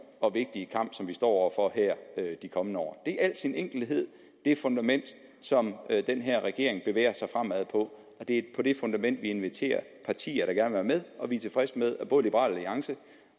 og vigtige kamp som vi står over for her de kommende år det i al sin enkelhed det fundament som den her regering bevæger sig fremad på og det på det fundament vi inviterer partier der gerne vil være med og vi er tilfredse med at både liberal alliance